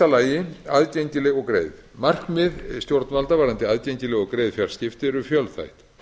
fyrstu aðgengileg og greið markmiðstjórnvalda varðandi aðgengileg og greið fjarskipti eru fjölþætt